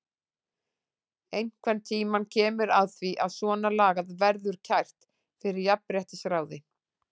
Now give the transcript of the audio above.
Einhvern tímann kemur að því að svona lagað verður kært fyrir jafnréttisráði.